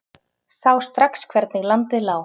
Sá strax hvernig landið lá.